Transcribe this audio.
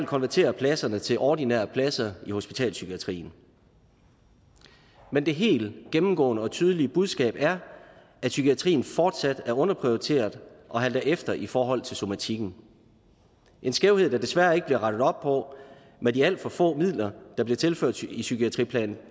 konvertere pladserne til ordinære pladser i hospitalspsykiatrien men det helt gennemgående og tydelige budskab er at psykiatrien fortsat er underprioriteret og halter efter i forhold til somatikken en skævhed der desværre ikke bliver rettet op på med de alt for få midler der bliver tilført i psykiatriplan